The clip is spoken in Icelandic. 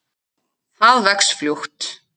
Það vex fljótt.